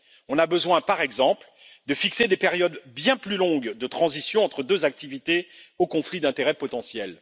On a besoin, par exemple, de fixer des périodes bien plus longues de transition entre deux activités aux conflits d'intérêts potentiels.